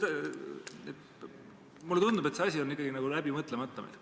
Mulle tundub, et see asi on meil ikkagi läbi mõtlemata.